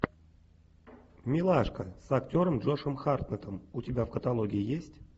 милашка с актером джошем хартнеттом у тебя в каталоге есть